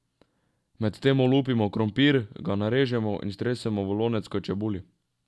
Medtem olupimo krompir, ga narežemo in stresemo v lonec k čebuli.